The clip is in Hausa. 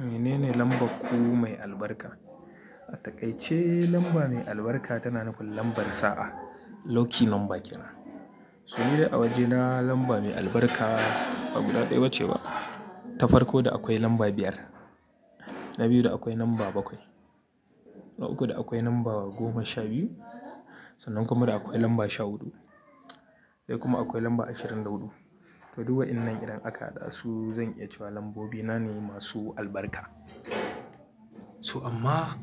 Menene lambarku mai albarka? A takaice lamba mai albarka tana nufin lambar sa'a. Lucky number ke nan. So nidai a waje na lamba mai albarka, ba guda ɗayeba ce ba. Ta farko da akwai lamba biyar, na biyu da akwai lamba bakwai, na uku da akwai lamba goma sha biyu, sannan kuma da akwai lamba sha huɗu. Sai kuma akwai lamba ashirin da huɗu. To, duk wa'innan idan aka hada su zan iya cewa lambobina ne masu albarka. So amma,